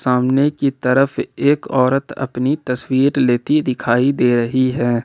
सामने की तरफ एक औरत अपनी तस्वीर लेती दिखाई दे रही है ।